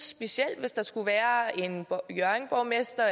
specielt hvis der skulle være en hjørringborgmester